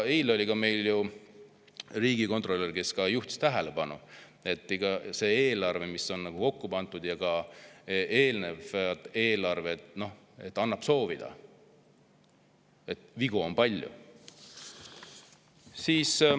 Eile oli meil siin riigikontrolör, kes juhtis ka tähelepanu, et see eelarve, mis on nüüd kokku pandud, ja ka eelnevad eelarved jätavad soovida, vigu on palju.